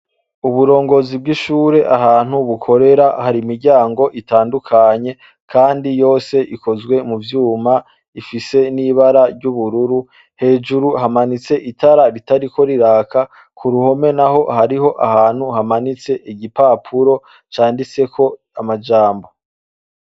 Uburongozi bw'ishure ahantu bukorera hari imiryango itandukanye kandi yose ikozwe mu vyuma ifise n'ibara ry'ubururu hejuru hamanitse itara ritariko riraka ku ruhome naho hariho ahantu hamanitse igipapuro canditseko amajambo.